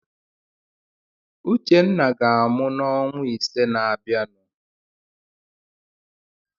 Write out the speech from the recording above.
Uchenna ga-amụ n'ọnwa ise na-abịanụ.